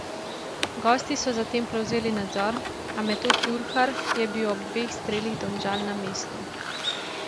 Gosti so zatem prevzeli nadzor, a Metod Jurhar je bil ob dveh strelih Domžal na mestu.